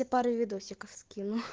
я пару видосиков скину